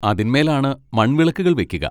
അതിന്മേലാണ് മൺവിളക്കുകൾ വെക്കുക.